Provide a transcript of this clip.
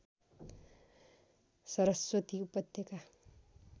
सरस्वती उपत्यका